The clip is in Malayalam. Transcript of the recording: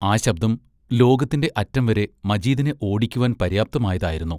ആ ശബ്ദം ലോകത്തിന്റെ അറ്റം വരെ മജീദിനെ ഓടിക്കുവാൻ പര്യാപ്തമായതായിരുന്നു.